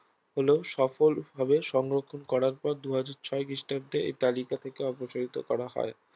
হলেও সফল ভাবে সংরক্ষণ করার পর দুই হাজার ছয় খ্রিষ্টাব্দে এই তালিকা থেকে অপসারিত করা হয়